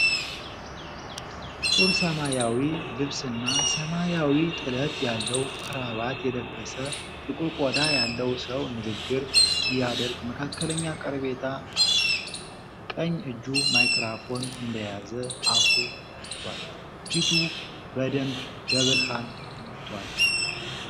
ጥቁር ሰማያዊ ልብስና ሰማያዊ ጥለት ያለው ክራባት የለበሰ፣ ጥቁር ቆዳ ያለው ሰው ንግግር ሲያደርግ መካከለኛ ቀረቤታ አለው። ቀኝ እጁ ማይክሮፎን እንደያዘ አፉ ተከፍቷል። ፊቱ በደንብ በብርሃን ተመቷል።